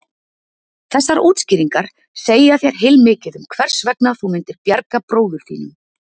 Þessar útskýringar segja þér heilmikið um hvers vegna þú myndir bjarga bróður þínum.